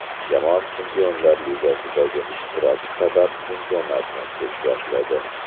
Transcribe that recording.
Jamoa Chempionlar Ligasidagi ishtirok sabab chempionatni kech boshladi.